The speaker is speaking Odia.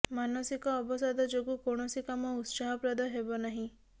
ମାନସିକ ଅବସାଦ ଯୋଗୁ କୌଣସି କାମ ଉତ୍ସାହପ୍ରଦ ହେବ ନାହିଁ